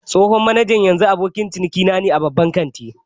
Tsohon manajan yanzu abokin ciniki ne a babban kantin